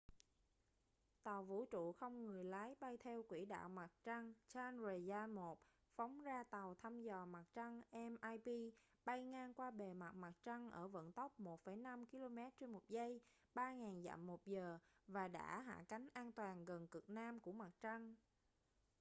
tàu vũ trụ không người lái bay theo quỹ đạo mặt trăng chandrayaan-1 phóng ra tàu thăm dò mặt trăng mip bay ngang qua bề mặt mặt trăng ở vận tốc 1,5 km/giây 3000 dặm/giờ và đã hạ cánh an toàn gần cực nam của mặt trăng